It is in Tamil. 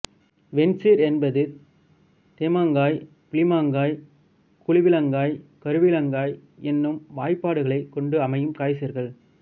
வெண்சீர் என்பது தேமாங்காய் புளிமாங்காய் கூவிளங்காய் கருவிளங்காய் என்னும் வாய்பாடுகளைக் கொண்டு அமையும் காய்சீர்கள்